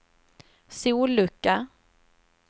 sollucka